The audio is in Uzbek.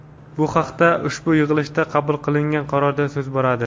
Bu haqda ushbu yig‘ilishida qabul qilingan qarorda so‘z boradi.